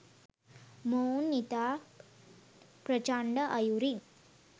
මොවුන් ඉතා ප්‍රචණ්ඩ අයුරින්